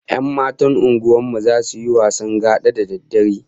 Yan matan unguwar mu zasu yi wasan gada da daddare